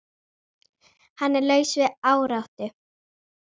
Hann er laus við áráttu.